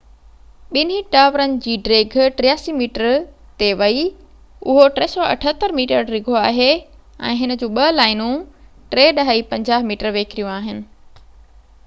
ٻنهي ٽاورن جي ڊيگهہ 83 ميٽر تي ويئي اهو 378 ميٽر ڊگهو آهي ۽ هن جون ٻہ لائنون 3.50 ميٽر ويڪريون آهن